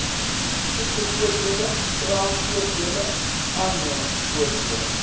siektevoordele kraamvoordele aannemingsvoordele